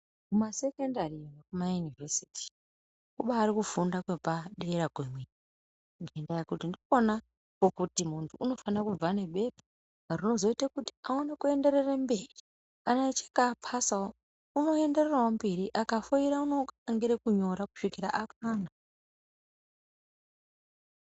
Kumasekendari nekuma Inivhesiti kubarifunda kwepadera kwemene ngendaa yekuti ndikwona kwokuti muntu unofana kubva nebepa rinozoita kuti aone kuenderera kumberi kana achinge apasawo unoendererawo mberi akafoira unoangira kunyora kusvikira kwana.